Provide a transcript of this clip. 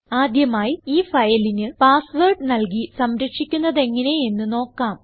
ആദ്യമായി ഈ ഫയലിന് പാസ് വേർഡ് നല്കി സംരക്ഷിക്കുന്നതെങ്ങനെ എന്ന് നോക്കാം